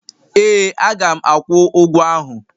Ee. Aga m akwụ ụgwọ ahụ.